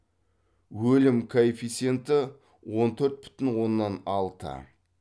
өлім коэффициенті он төрт бүтін оннан алты